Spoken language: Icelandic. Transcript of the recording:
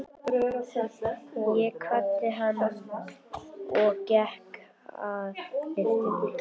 Ég kvaddi hann og gekk að lyftunni.